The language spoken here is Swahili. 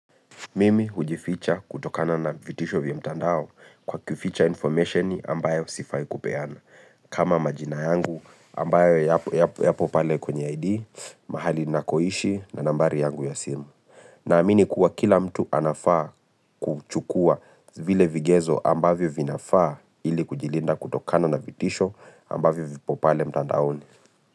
Mimi hujificha kutokana na vitisho vya mtandao kwa kuficha information ambayo sifai kupeana. Kama majina yangu ambayo yapo pale kwenye ID, mahali nakoishi na nambari yangu ya simu na amini kuwa kila mtu anafaa kuchukua vile vigezo ambayo vinafaa ili kujilinda kutokana na vitisho ambayo vipo pale mtandaoni.